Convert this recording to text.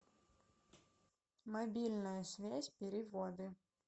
мобильная связь переводы